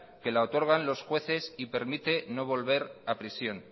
que la otorgan los jueces y permite no volver a prisión